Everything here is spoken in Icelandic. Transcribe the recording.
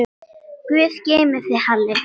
Guð geymi þig, Halli.